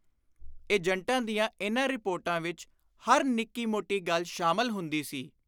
ਏਜੰਟਾਂ ਦੀਆਂ ਇਨ੍ਹਾਂ ਰਿਪੋਰਟਾਂ ਵਿਚ ਹਰ ਨਿੱਕੀ ਮੋਟੀ ਗੱਲ ਸ਼ਾਮਲ ਹੁੰਦੀ ਸੀ।